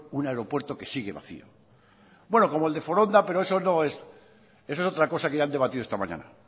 un aeropuerto que sigue vacío bueno como el de foronda pero eso es otra cosa que ya han debatido esta mañana